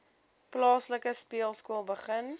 plaaslike speelskool begin